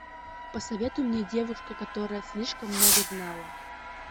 посоветуй мне девушка которая слишком много знала